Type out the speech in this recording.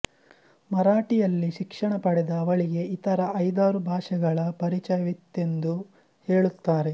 ಮರಾಠಿಯಲ್ಲಿ ಶಿಕ್ಷಣ ಪಡೆದ ಅವಳಿಗೆ ಇತರ ಐದಾರು ಭಾಷೆಗಳ ಪರಿಚಯವಿತ್ತೆಂದು ಹೇಳುತ್ತಾರೆ